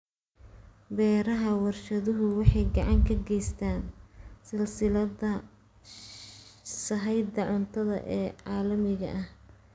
Beeraha warshaduhu waxay gacan ka geystaan ??silsiladda sahayda cuntada ee caalamiga ah.